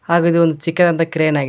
ಹಾಗೆ ಇದು ಒಂದು ಚಿಕ್ಕದದಂತ ಕ್ರೇನ್ ಆಗಿದೆ.